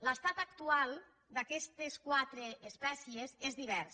l’estat actual d’aquestes quatre espècies és divers